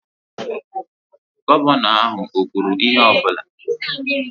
Gọvanọ ahụ o kwuru ihe ọ bụla?